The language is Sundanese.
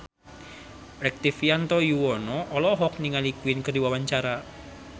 Rektivianto Yoewono olohok ningali Queen keur diwawancara